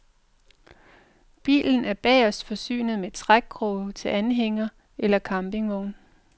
Bilen er bagest forsynet med trækkrog til anhænger eller campingvogn.